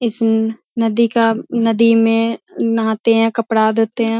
इस नदी का नदी मे नहाते हैं कपड़ा धोते हैं।